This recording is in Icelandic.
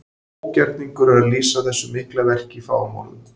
Ógerningur er að lýsa þessu mikla verki í fáum orðum.